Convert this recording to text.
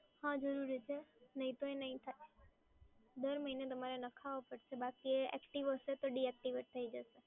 દર મહિને તમારે લખાવા પડશે, બાકી એ એક્ટિવેટ હશે તો ડીએક્ટિવેટ થઈ જશે